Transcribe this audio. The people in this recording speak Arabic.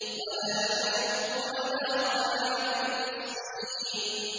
وَلَا يَحُضُّ عَلَىٰ طَعَامِ الْمِسْكِينِ